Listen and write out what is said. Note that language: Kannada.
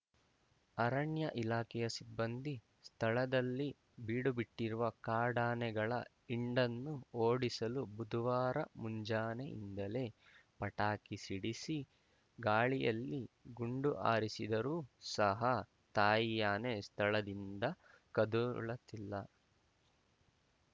ಅರಣ್ಯ ಇಲಾಖೆಯ ಸಿಬ್ಬಂದಿ ಸ್ಥಳದಲ್ಲಿ ಬೀಡುಬಿಟ್ಟಿರುವ ಕಾಡಾನೆಗಳ ಹಿಂಡನ್ನು ಓಡಿಸಲು ಬುಧುವಾರ ಮುಂಜಾನೆಯಿಂದಲೇ ಪಟಾಕಿ ಸಿಡಿಸಿ ಗಾಳಿಯಲ್ಲಿ ಗುಂಡು ಹಾರಿಸಿದರು ಸಹ ತಾಯಿ ಆನೆ ಸ್ಥಳದಿಂದ ಕದಳುತ್ತಿಲ್ಲ